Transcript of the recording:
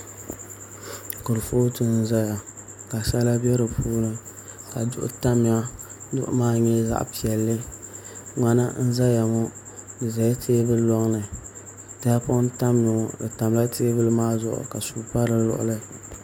Kurifooti n ʒɛya ka sala bɛ di puuni ka duɣu tamya duɣu maa nyɛla zaɣ piɛlli ŋmana n ʒɛya ŋo di ʒɛla teebuli loŋni tahapoŋ n tamya ŋo di tamla teebuli maa zuɣu ka suu pa di luɣuli